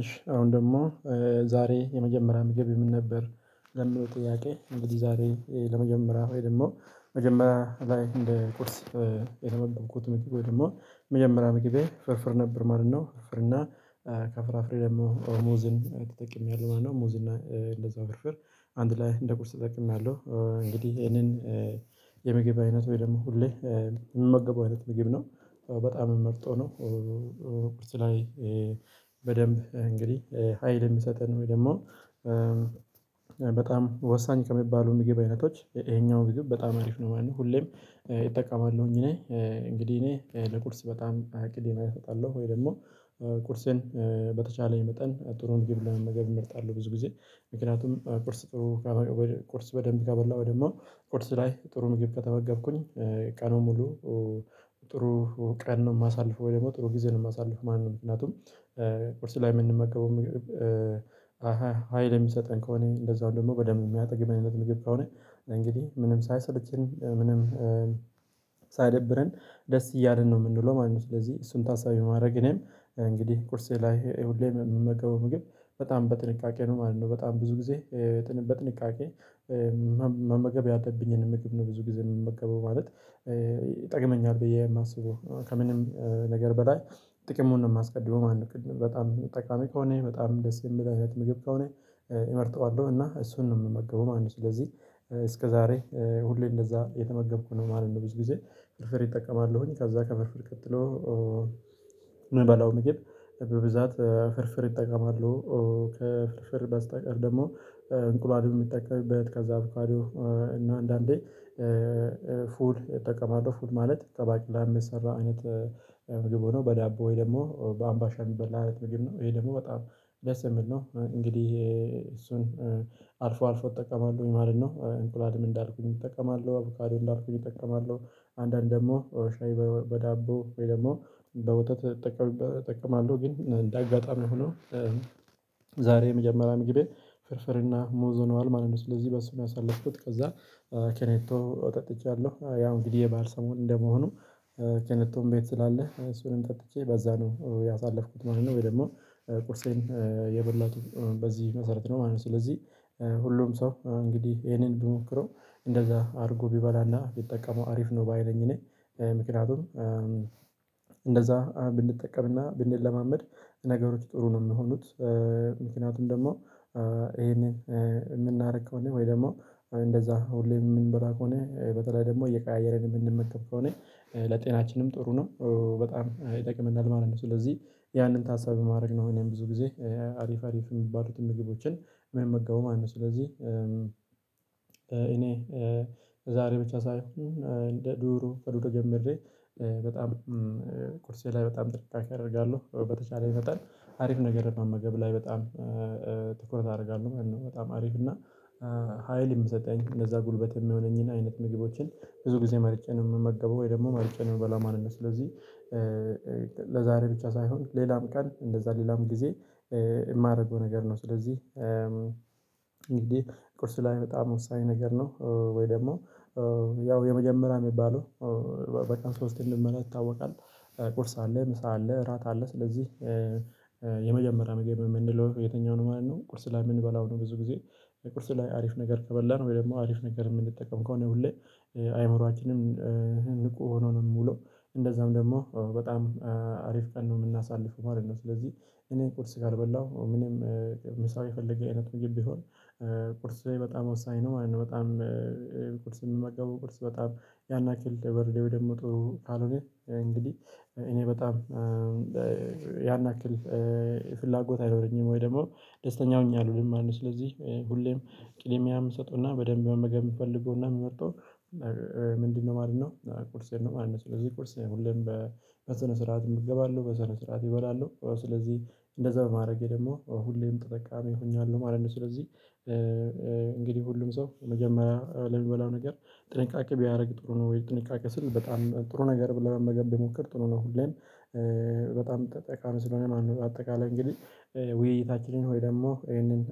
እሺ አሁን ደግሞ ዛሬ የመጀመሪያ ምግብ ምን ነበር ለሚል ጥያቄ እንደዚህ ዛሬ ለመጀመሪያ ወይ ደግሞ መጀመሪያ ላይ እንደ ቁርስ የተመገብኩት ምግብ ወይ ደግሞ መጀመሪያ ምግብ ፍርፍር ነበር። ማለት ነው ፍርፍር እና ከፍራፍሬ ደግሞ ሙዝን ተጠቅሜያለሁ ማለት ነው። ሙዝ እንደዛው ፍርፍር አንድ ላይ እንደ ቁርስ ተጠቅሜያለሁ እንግዲህ ይሄንን የምግብ አይነት ወይ ደግሞ ሁሌ የምመገበው አይነት ምግብ ነው። በጣም መርጦ ነው። ቁርስ ላይ በደንብ እንግዲህ ሀይል የሚሰጠን ወይ ደግሞ በጣም ወሳኝ ከሚባሉ ምግብ አይነቶች ይሄኛው ምግብ በጣም ሀሪፍ ነው። ማለት ሁሌም እጠቀማለሁኝ እኔ እንግዲህ እኔ ለቁርስ በጣም እቅዴን እሰጣለሁ ወይ ደግሞ ቁርሴን በተቻለኝ መጠን ጥሩን ምግብ ለመመገብ እመርጣለሁ። ብዙ ጊዜ ምክንያቱም ቁርስ ቁርስ በደንብ ከበላሁ ደግሞ ቁርስ ላይ ጥሩ ምግብ ከተመገብኩኝ ቀኑን ሙሉ ጥሩ ቀን ነው የማሳልፈው ወይ ደግሞ ጥሩ ጊዜ ነው የማሳልፍ ማለት ነው። ምክንያቱም ቁርስ ላይ የምንመገበው ምግብ አሃ ሀይል የሚሰጠን ከሆነ እንደዛው ደግሞ በደንብ የሚያጠግብ አይነት ምግብ ከሆነ እንግዲህ ምንም ሳይሰለቸን ምንም ሳይደብረን ደስ እያልን ነው የምንውለው ማለት ነው። ስለዚህ እሱን ታሳቢ ማድረግ እኔም እንግዲህ ቁርሴ ላይ ሁሌም የምመገበው ምግብ በጣም በጥንቃቄ ነው ማለት ነው። በጣም ብዙ ጊዜ በጥንቃቄ መመገብ ያለብኝን ምግብ ነው ብዙ ጊዜ የምመገበው ማለት ይጠቅመኛል ብዬ የማስበው ከምንም ነገር በላይ ጥቅሙን ነው የማስቀድመው ማለት ነው። በጣም ጠቃሚ ከሆነ በጣም ደስ የሚል አይነት ምግብ ከሆነ እመርጠዋለሁ እና እሱን ነው የምመገበው ማለት ነው። ስለዚህ እስከዛሬ ሁሌ እንደዛ የተመገብኩ ነው ማለት ነው። ብዙ ጊዜ ፍርፍር እጠቀማለሁኝ ከዛ ከፍርፍር ቀጥሎ ምበላው ምግብ በብዛት ፍርፍር እጠቀማለሁ። ከፍርፍር በስተቀር ደግሞ እንቁላል የምጠቀምበት ከዛ በኋላ እና አንዳንዴ ፉል የተጠቀመው ፉል ማለት ከባቄላ የሚሰራ አይነት ምግብ ሆኖ በዳቦ ወይ ደግሞ በአምባሻ የሚበላ አይነት ምግብ ነው ይሄ ደግሞ በጣም ደስ የሚል ነው። እንግዲህ እሱን አልፎ አልፎ እጠቀማለሁኝ ማለት ነው። እንቁላልም እንዳልኩህ እጠቀማለሁ አቮካዶ እንዳልኩህ እጠቀማለሁ አንዳንድ ደግሞ ሻይ በዳቦ ወይ ደግሞ በወተት እጠቀማለሁ ግን እንደ አጋጣሚ ሆኖ ዛሬ የመጀመሪያ ምግቤ ፍርፍርና ሙዝ ሆነዋል ማለት ነው። ስለዚህ በሱ ነው ያሳለፍኩት ከዛ ኬኔቶ ጠጥቻለሁ ያው እንግዲህ የባዕል ሰሞን እንደመሆኑ ኬኔቶን ቤት ስላለ እሱንም ጠጥቼ በዛ ነው ያሳለፍኩት ማለት ነው። ወይ ደግሞ ቁርሴን የበላሁት በዚህ መሰረት ነው ማለት ነው። ስለዚህ ሁሉም ሰው እንግዲህ ይሄንን ቢሞክረው እንደዛ አድርጎ ቢበላና ቢጠቀመው ሀሪፍ ነው ባይ ነኝ። እኔ ምክንያቱም እንደዛ ብንጠቀምና ብንለማመድ ነገሮች ጥሩ ነው የሚሆኑት። ምክንያቱም ደግሞ ይሄንን የምናደርገው እንዴ ወይ ደግሞ እንደዛ ሁሌ የምንበላ ከሆነ በተለይ ደግሞ እየቀያየርን የምንመገብ ከሆነ ለጤናችንም ጥሩ ነው በጣም ይጠቅመናል ማለት ነው። ስለዚህ ያንን ታሳቢ ማድረግ ነው እኔም ብዙ ጊዜ ሀሪፍ ሀሪፍ የሚባሉትን ምግቦችን ምመገቡ ማለት ነው። ስለዚህ እኔ ዛሬ ብቻ ሳይሆን እንደ ድሮ ከድሮ ጀምሬ በጣም ቁርሴ ላይ በጣም ጥንቃቄ አደርጋለሁ በተቻለኝ መጠን ሀሪፍ ነገር መመገብ ላይ በጣም ትኩረት አደርጋለሁ ማለት ነው። በጣም ሀሪፍ እና ሀይል የሚሰጠኝ እነዛ ጉልበት የሚሆነኝን አይነት ምግቦችን ብዙ ጊዜ መርጬ ነው የምመገበው ወይ ደግሞ መርጬ ነው የምበላው ስለዚህ። ለዛሬ ብቻ ሳይሆን ሌላም ቀን እንደዛ ሌላም ጊዜ የማደርገው ነገር ነው። ስለዚህ እንግዲህ ቁርስ ላይ በጣም ወሳኝ ነገር ነው። ወይ ደግሞ ያው የመጀመሪያ የሚባለው በጣም ስፖርት የምንመራ ይታወቃል ቁርስ አለ ምሳ አለ እራት አለ ስለዚህ የመጀመሪያ ምግብ የምንለው የትኛው ነው ማለት ነው? ቁርስ ላይ የምንበላው ነው ብዙ ጊዜ ቁርስ ላይ ሀሪፍ ነገር ከበላን ወይ ደግሞ ሀሪፍ ነገር የምንጠቀም ከሆነ ሁሌ አይምሮአችንም ብቁ ሆኖ ነው የምውለው እንደዛም ደግሞ በጣም ሀሪፍ ቀን ነው የምናሳልፈው ማለት ነው። ስለዚህ እኔ ኮርስ ጋር በላሁ ምንም ምሳ የፈለገ አይነት ምግብ ቢሆን ቁርስ ላይ በጣም ወሳኝ ነው ማለት ነው። በጣም የምመገበው ቁርስ በጣም ያን ያክል ደብረሌው ደግሞ ጥሩ ካልሆነ እንግዲህ እኔ በጣም ያን ያክል ፍላጎት አይኖረኝም ወይ ደግሞ ደስተኛ ሁኝ አልውልም ማለት ነው። ስለዚህ ሁሌም ቅድሚያ የምሰጠውና በደንብ መመገብ የምፈልገውና የምመርጠው ምንድነው ማለት ነው? ቁርሴን ነው ማለት ነው። ስለዚህ ቁርሴን ሁሌም በስነ ስርዓት ይገባሉ በስነ ስርዓት እበላለሁ ስለዚህ እንደዛ በማድረጌ ደግሞ ሁሌም ተጠቃሚ ሆኛለሁ ማለት ነው። ስለዚህ እንግዲህ ሁሉም ሰው መጀመሪያ ለሚበላው ነገር ጥንቃቄ ቢያደርግ ጥሩ ነው። ወይ ጥንቃቄ ስንል በጣም ጥሩ ነገር ብለህ መገን ቢሞክር ትሆናለህ። ሁሌም በጣም ጠቃሚ ስለሆነ ማነው? አጠቃላይ እንግዲህ ውይይታችንን ሆይ ደግሞ ይሄንን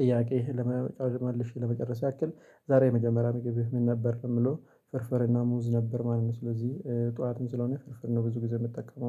ጥያቄ ለመጨረስ ያክል ዛሬ የመጀመሪያ መገቢያው ምን ነበር ለምለው ፍርፍርና ሙዝ ነበር ማለት ነው። ስለዚህ ጠዋትም ስለሆነ ፍርፍር ነው ብዙ ጊዜ የምትጠቀመው